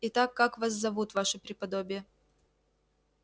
итак как вас зовут ваше преподобие